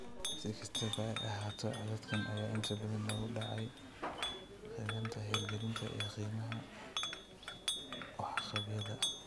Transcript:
Si kastaba ha ahaatee, codadkan ayaa inta badan lagu dayacay qaabaynta, hirgelinta, iyo qiimaynta waxqabadyada.